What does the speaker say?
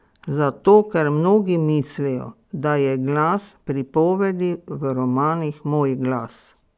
Zato ker mnogi mislijo, da je glas pripovedi v romanih moj glas.